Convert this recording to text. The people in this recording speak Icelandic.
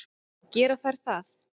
Gera þær það?